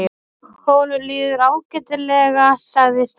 Honum líður ágætlega sagði stúlkan.